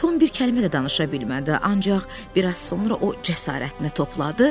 Tom bir kəlmə də danışa bilmədi, ancaq bir az sonra o cəsarətini topladı,